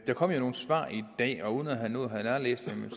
der kom jo nogle svar i dag og uden at have nået at nærlæse dem